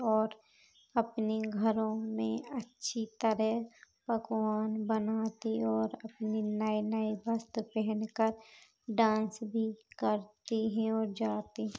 और अपने घरों में अच्छी तरह पकवान बनाती और अपनी नए-नए वस्त्र पहनकर डांस भी करती हैं और जाती--